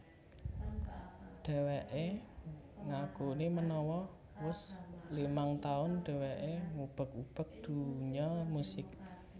Dheweké ngakuni menawa wus limang taun dheweké ngubek ubek dunya musik